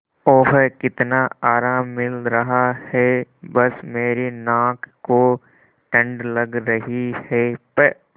ओह कितना आराम मिल रहा है बस मेरी नाक को ठंड लग रही है प्